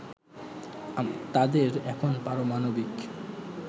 তাদের এখন পারামাণবিক